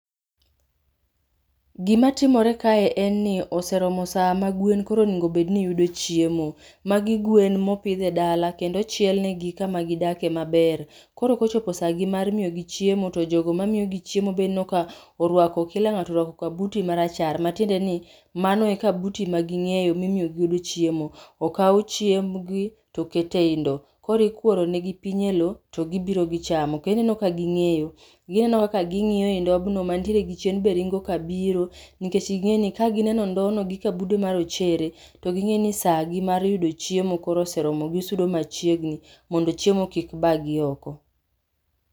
Gima timore kae en ni oseromo saa magwen koro onego bedni yudo chiemo. Magi gwen mopidh e dala kendo ochiel negi kama gidak emaber, Koro kochopo sagi mar miyo gi chiemo to jogo mamiyogi chiemo ineno ka orwako kila ngato orwako kabuti marachar matiende ni mano e kabuti magingeyo mimiyogi godo chiemo. Okao chiembgi tokete ei ndoo, koro ikuoro negi piny ei loo togibiro gichamo, ineno ka gingeyo. Gineno kaka gingiyo ndobno mantiere gi chien be ringo ka biro nikech gingeni ka gineno ndobno gi kabude marochere to gingeyo ni saa gi mar yudo chiemo koro oseromo, gisudo machiegni mondo chiemo kik bagi oko